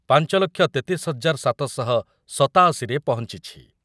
ପାଞ୍ଚ ଲକ୍ଷ ତେତିଶ ହଜାର ସାତ ଶହ ସତାଅଶି ରେ ପହଞ୍ଚିଛି।